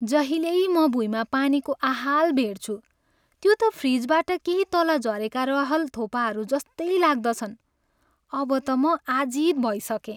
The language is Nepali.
जहिल्यै म भुइँमा पानीको आहाल भेट्छु, त्यो त फ्रिजबाट केही तल झरेका रहल थोपाहरूजस्तै लाग्दछन्। अब त म आजित भइसकेँ।